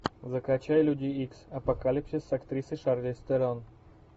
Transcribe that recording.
закачай люди икс апокалипсис с актрисой шарлиз терон